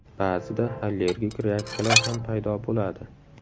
Ba’zida allergik reaksiyalar ham paydo bo‘ladi.